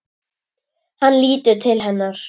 Hann lítur til hennar.